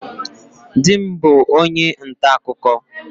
Di m bu onye nta akụkụ.